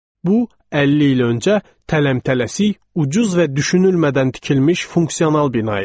Bu, 50 il öncə tələm-tələsik, ucuz və düşünülmədən tikilmiş funksional bina idi.